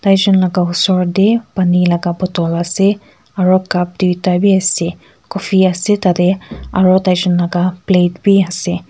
tuijon laka osor tae pani laka bottle ase aro cup tuita bi ase aro tai jon la plate biase.